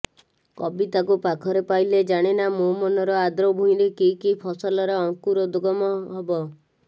କବିତାକୁ ପାଖରେ ପାଇଲେ ଜାଣେନା ମୋ ମନର ଆଦ୍ର ଭୂଇଁରେ କି କି ଫସଲର ଅଙ୍କୁରୋଗଦମ ହବ